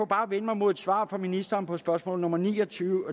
bare vende mig mod et svar fra ministeren på spørgsmål nummer en og tyve